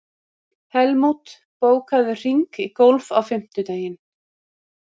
Helmút, bókaðu hring í golf á fimmtudaginn.